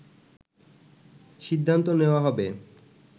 সিদ্ধান্ত নেওয়া হবে